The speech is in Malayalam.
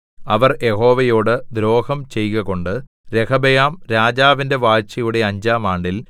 അവർ യഹോവയോട് ദ്രോഹം ചെയ്കകൊണ്ട് രെഹബെയാം രാജാവിന്റെ വാഴ്ചയുടെ അഞ്ചാം ആണ്ടിൽ